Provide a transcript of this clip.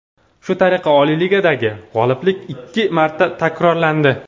Shu tariqa Oliy Ligadagi g‘oliblik ikki marta takrorlandi.